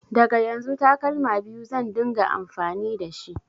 Daga yanzu takalma biyu zan ɗinga amfani dashi